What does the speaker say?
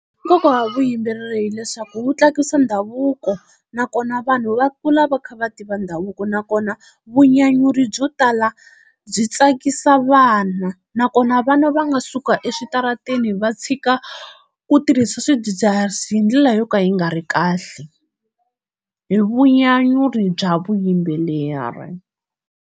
Nkoka wa vuyimberi hileswaku wu tsakusa ndhavuko nakona vanhu va kula va kha va tiva ndhavuko, nakona vunyanyuri byo tala byi tsakisa vana, nakona vana va nga suka eswitarateni va tshika ku tirhisa swidzidziharisi hi ndlela yo ka yi nga ri kahle hi vunyanyuri bya vuyimbeleri.